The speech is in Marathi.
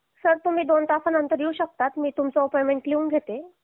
सर तुम्ही दोन तासानंतर येऊ शकतात मी तुमचा अपॉइंटमेंट लिहून घेते